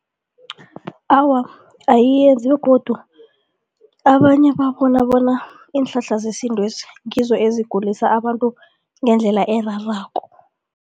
Awa, ayiyenzi begodu abanye babona bona iinhlahla zesintwezi ngizo ezigulisa abantu ngendlela erarako.